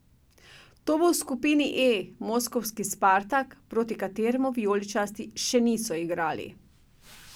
To bo v skupini E moskovski Spartak, proti kateremu vijoličasti še niso igrali.